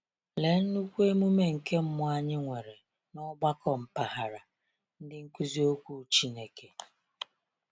Lee nnukwu emume nke mmụọ anyị nwere na ọgbakọ mpaghara “Ndị nkuzi okwu Chineke ”!